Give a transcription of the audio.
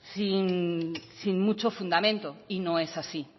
sin mucho fundamento y no es así